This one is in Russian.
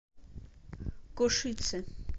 кошице